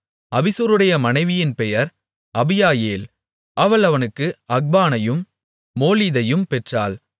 அபிசூருடைய மனைவியின் பெயர் அபியாயேல் அவள் அவனுக்கு அக்பானையும் மோளிதையும் பெற்றாள்